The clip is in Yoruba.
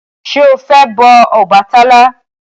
Ṣé o fẹ́ bọ Ọbàtálá?